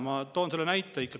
Ma toon näite.